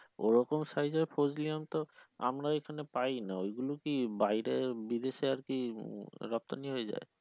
ওরকম size এর ফজলি আম তো আমরা এখানে পাই না এগুলো কি বাইরে বিদেশে আরকি রপ্তানি হয়ে যায়?